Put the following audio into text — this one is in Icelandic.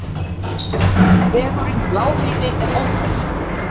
Vegurinn um Lágheiði er ófær.